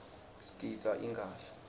sigidza ingadla